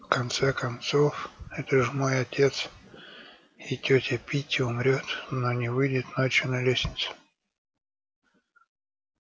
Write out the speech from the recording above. в конце концов это же мой отец и тётя питти умрёт но не выйдет ночью на лестницу